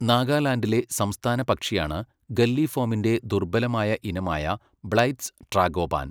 നാഗാലാന്റിലെ സംസ്ഥാന പക്ഷിയാണ് ഗല്ലിഫോമിന്റെ ദുർബലമായ ഇനമായ ബ്ലൈത്ത്സ് ട്രാഗോപാൻ..